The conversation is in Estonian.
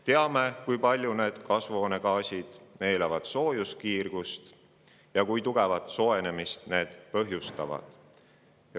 Teame ka, kui palju need kasvuhoonegaasid soojuskiirgust neelavad ja kui tugevat soojenemist need põhjustavad.